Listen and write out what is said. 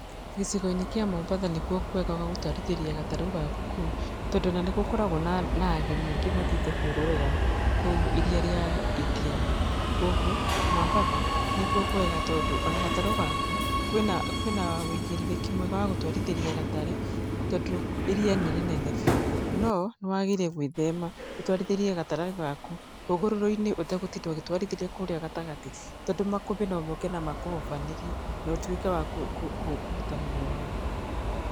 Gĩcigo-inĩ kĩa Mombatha nĩkuo kwega gwa gũtwarithĩria gatarũ gaku kũu, tondũ ona nĩ gũkoragwo na ageni aingĩ mathiĩte kwĩrorera kũu iria rĩa Indiana. Kuũguo Mambatha nĩkuo kwega tondũ ona gatarũ gaku, kwĩna wũigĩrĩrĩki mwega wa gũtwarithĩria gatarũ tondũ iria nĩ rĩnene biũ. No nĩ wagĩrĩire gwĩthema ũtwarithĩrie gatarũ gaku hũgũrũrũ-inĩ ũtegũtinda ũgĩtwarithĩria kũrĩa gatagatĩ. Tondũ makũmbĩ no moke na makũhobanĩrie na ũtuĩke wa kũruta muoyo waku.